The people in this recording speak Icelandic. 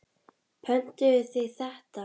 Pöntuðu þið þetta?